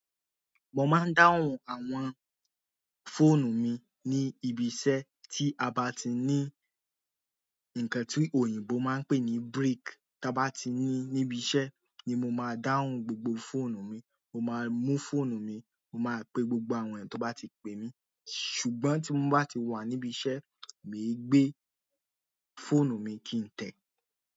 Mo máa ń dáhùn àwọn fóònù mi ní ibi iṣẹ́ tí a bá ti ní ńkan tí òyìnbó máa ń pè ní break. Tí a bá ti ní níbi iṣẹ́ ni mo máa dáhùn gbogbo fóònù mi. Mo máa mú fóònù mi, mo máa pe gbogbo àwọn ènìyàn tó bá ti pè mí. Ṣùgbọ́n tí mo bá ti wà níbi iṣẹ́, mi ò gbé fóònù mi kí n tẹ̀.